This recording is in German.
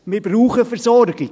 Wir brauchen die Versorgung.